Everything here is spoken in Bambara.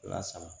Wa sama